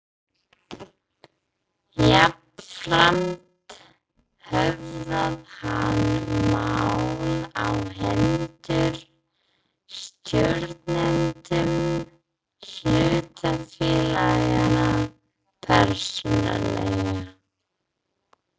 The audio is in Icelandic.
Jafnframt höfðað hann mál á hendur stjórnendum hlutafélaganna persónulega.